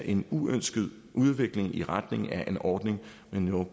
en uønsket udvikling i retning af en ordning med no